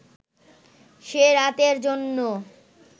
সে রাতের জন্য